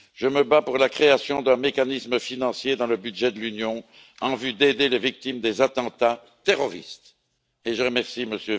Je me bats pour la création d'un mécanisme financier dans le budget de l'Union en vue d'aider les victimes des attentats terroristes, et je remercie M.